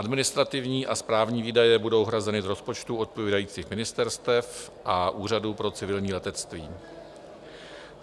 Administrativní a správní výdaje budou hrazeny z rozpočtu odpovídajících ministerstev a Úřadu pro civilní letectví.